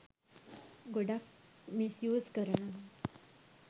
ගොඩාක් misuse කරනවා.